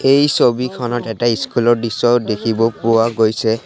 এই ছবিখনত এটা স্কুল ৰ দৃশ্য দেখিব পোৱা গৈছে।